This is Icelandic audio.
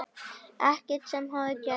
Ekkert sem hafði gerst.